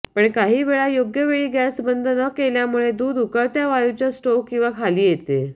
पण काहीवेळा योग्य वेळी गॅस बंद न केल्यामुळे दूध उकळत्या वायूच्या स्टोव्ह किंवा खाली येते